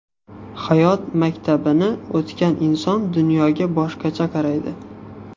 Hayot maktabini o‘tagan inson dunyoga boshqacha qaraydi.